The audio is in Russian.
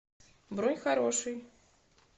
бронь хороший